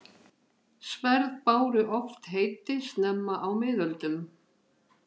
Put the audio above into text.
Sverð báru oft heiti snemma á miðöldum.